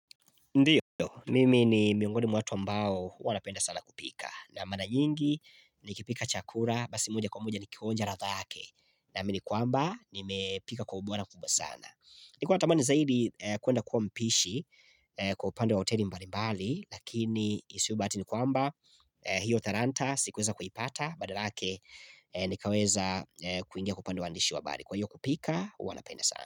Ndiyo, mimi ni miongoni mwa watu mbao wanapenda sana kupika na mara nyingi nikipika chakura, basi moja kwa moja nikionja radha yake Naamini kwamba nimepika kwa ubora kubwa sana Nilikuwa natamani zaidi kwenda kuwa mpishi kwa upande wa hoteli mbali mbali Lakini isiyobahati ni kwamba hiyo taranta si kuweza kuipata Badala yake nikaweza kuingia kwa upande wa uandishi wa habari Kwa hiyo kupika, huwa napenda sana.